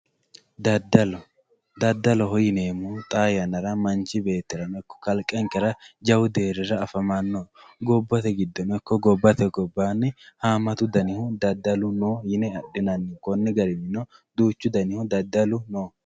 daddalo daddaloho yineemmohu xaa yannara manchi beettirano ikko kalqete jawu deerrira afamanno gobbate giddono ikko gobbate gobbaanni haammatu danihu daddalu no yine adhinanni konni daninnino duuchu danihu daddalu no.